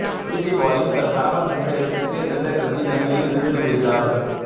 உலுஜிபாயும் தன் கணவன் சென்ற இடத்திற்கே செல்லக்கருதி கங்கையில் விழுந்து விடுகிறாள்